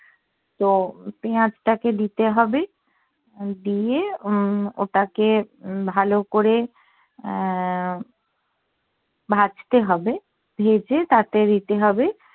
তো পেঁয়াজ টাকে দিতে হবে দিয়ে উম ওটাকে হম ভালো করে আহ ভাজতে হবে ভেজে তাতে দিতে হবে